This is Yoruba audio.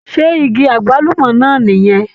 Ṣé igi agbalumọ náà nì yẹn?